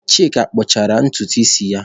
Chika akpụchapụla ntutu isi ya.